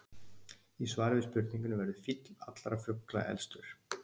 Í svari við spurningunni Verður fýll allra fugla elstur?